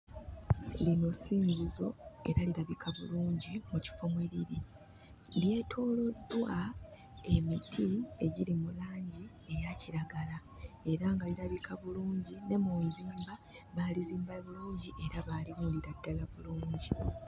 Lino ssinzizo era lirabika bulungi mu kifo mwe liri. Lyetooloddwa emiti egiri mu langi eya kiragala era nga lirabika bulungi. Ne mu nzimba baalizimba bulungi era baaliwundira ddala bulungi.